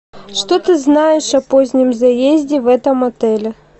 что ты знаешь о позднем заезде в этом отеле